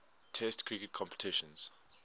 test cricket competitions